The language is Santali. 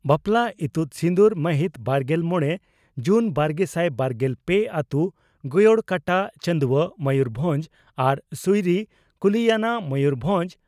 ᱵᱟᱯᱞᱟ ᱤᱛᱩᱫ ᱥᱤᱸᱫᱩᱨ ᱢᱟᱹᱦᱤᱛ ,ᱵᱟᱨᱜᱮᱞ ᱢᱚᱲᱮ ᱡᱩᱱ ᱵᱟᱨᱜᱮᱥᱟᱭ ᱵᱟᱨᱜᱮᱞ ᱯᱮ ᱟᱹᱛᱳ ᱺ ᱜᱚᱭᱚᱲᱠᱟᱴᱟ, ᱪᱟᱹᱱᱫᱩᱣᱟᱹ, ᱢᱚᱭᱩᱨᱵᱷᱚᱸᱡᱽ ᱟᱨ ᱥᱩᱭᱨᱤ, ᱠᱩᱞᱤᱭᱟᱱᱟ, ᱢᱚᱭᱩᱨᱵᱷᱚᱸᱡᱽ ᱾